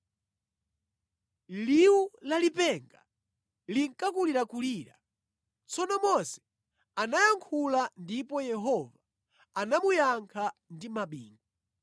Liwu la lipenga linkakulirakulira. Tsono Mose anayankhula ndipo Yehova anamuyankha ndi mabingu.